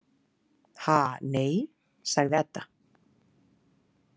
Ha, nei, sagði Edda.